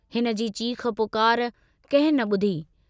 हिनजी चीख़ पुकार कंहिं न बुधी।